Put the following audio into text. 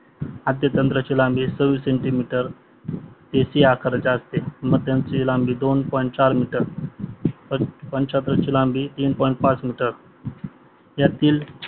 आद्यांत्राची लांबी centimetre ते C आकाराची असते मध्यांत्राची लांबी दोन पॉईंट चार मीटर व शेषांत्राची लांबी तीन पॉईंट पाच मीटर यातील